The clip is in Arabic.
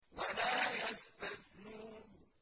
وَلَا يَسْتَثْنُونَ